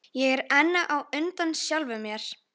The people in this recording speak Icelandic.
Ég er enn á undan sjálfum mér.